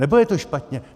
Nebo je to špatně?